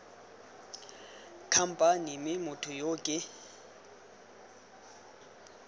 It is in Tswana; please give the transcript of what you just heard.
khamphane mme motho yo ke